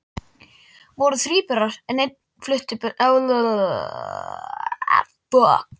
Voru þríburar en ein flutti burt